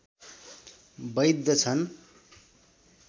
वैध छन्